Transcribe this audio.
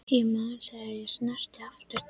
Ég man þegar ég sneri aftur til